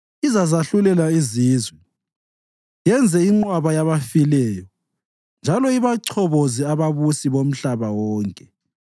Izazahlulela izizwe, yenze inqwaba yabafileyo njalo ibachoboze ababusi bomhlaba wonke.